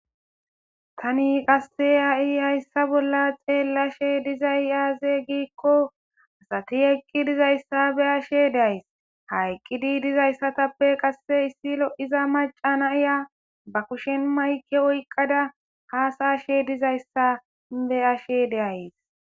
Tani qase ha'i haysa bola xelashe dizay aze giko asati eqqi dizaysa be'ashe days ha eqidi dizaysatappe qase issi lo'iza mac'a na'iya ba kushen mayke oyqada hasa'ashe dizaysa be'ashe de'ays.